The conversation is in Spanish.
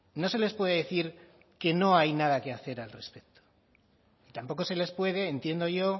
no se les puede decir que no hay nada que hacer al respecto tampoco se les puede entiendo yo